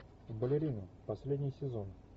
балерины последний сезон